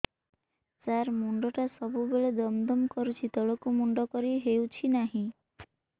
ସାର ମୁଣ୍ଡ ଟା ସବୁ ବେଳେ ଦମ ଦମ କରୁଛି ତଳକୁ ମୁଣ୍ଡ କରି ହେଉଛି ନାହିଁ